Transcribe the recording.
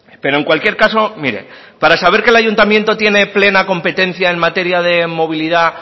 pero en cualquier caso mire para saber que el ayuntamiento tiene plena competencia en materia de movilidad